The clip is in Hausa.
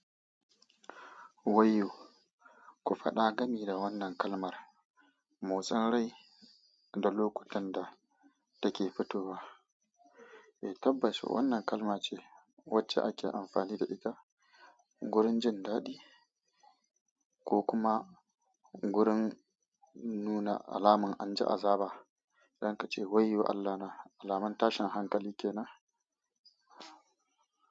Wayyo, ku faɗa gami da wannan kalmar, motsin rai da lokutan da take fitowa. Tabbas wannan kalma ce wacce ake amfani da ita gurin jin daɗi. Ko kuma gurin nuna alaman anji azaba. Za ka ce wayyo Allah na alaman tashin hankali kenan.